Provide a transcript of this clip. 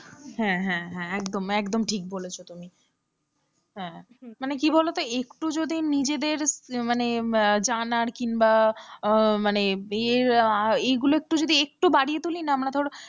হ্যাঁ হ্যাঁ একদম একদম ঠিক বলেছ তুমি মানে কি বলতো একটু যদি নিজেদের মানে এই জানার কিংবা মানে এ~আ~ এগুলো একটু যদি একটু বাড়িয়ে তুলি না আমরা ধরো,